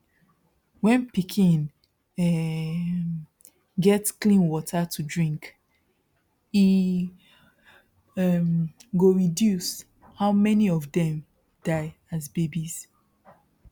when pikin um get clean water to drink e um go reduce how many of dem die as babies